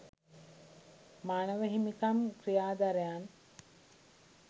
මානව හිමිකම් ක්‍රියාධරයන්